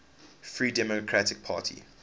free democratic party